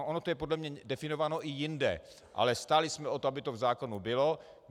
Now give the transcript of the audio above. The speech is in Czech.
Ono to je podle mě definováno i jinde, ale stáli jsme o to, aby to v zákoně bylo.